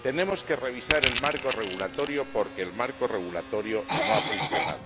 tenemos que revisar el marco regulador, porque el marco regulador no ha funcionado.